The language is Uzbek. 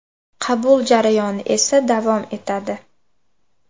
Qabul jarayoni esa davom etadi.